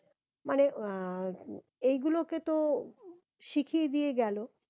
মানে আহ এইগুলোকে তো শিখিয়ে দিয়ে গেলো